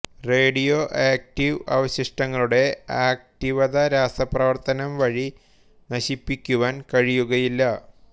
radio active അവശിഷ്ടങ്ങളുടെ ആക്റ്റിവത രാസപ്രവർത്തനം വഴി നശിപ്പിക്കുവാൻ കഴിയുകയില്ല